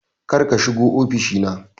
Kar ka shiga ofishi na